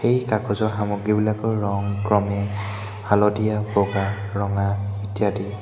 এই কাগজৰ সামগ্ৰীবিলাকৰ ৰং ক্ৰমে হালধীয়া বগা ৰঙা ইত্যাদি।